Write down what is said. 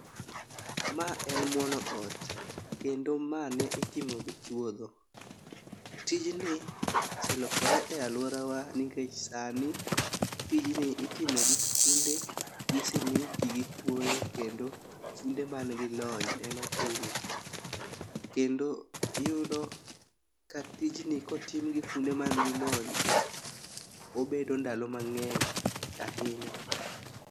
Ma en muono ot kendo ma ne otimo gi chuodho. Tijni oselokore aluorawa nikech sani tijni itimo gi funde, gi simiti, gi kwoyo kendo funde man gi lony ema time. kendo iyudo ka tijni kotim gi funde man gi lony to obede ndalo mang'eny ahinya.